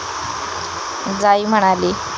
जाई म्हणाली.